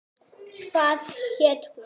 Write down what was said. Hvað hét hún?